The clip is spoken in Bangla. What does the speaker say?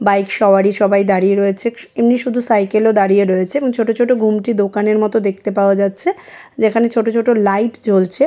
বাইক সওয়ারী সবাই দাঁড়িয়ে রয়েছে |ইনি শুধু সাইকেল -এ দাঁড়িয়ে রয়েছেনছোট ছোট ঘুমটি দোকানের মতো দেখতে পাওয়া যাচ্ছে |যেখানে ছোট ছোট লাইট জ্বলছে।